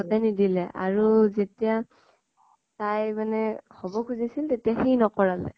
হঁতে নিদিলে । আৰু যেতিয়া তাই মানে হʼব খুজিছিল সি নকৰালে ।